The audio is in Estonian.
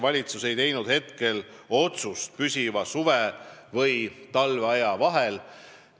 Valitsus ei ole langetanud valikut püsiva suve- ja talveaja vahel.